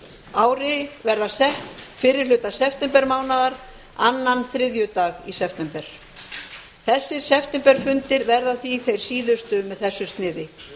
ári verða sett fyrri hluta september mánaðar annan þriðjudag í september þessir septemberfundir verða því þeir síðustu með þessu sniði